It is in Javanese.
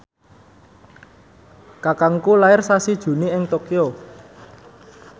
kakangku lair sasi Juni ing Tokyo